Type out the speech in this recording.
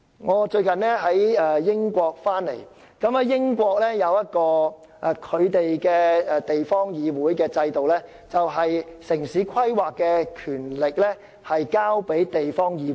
我最近從英國回港，英國制訂的地方議會制度是，城市規劃的權力交由地方議會。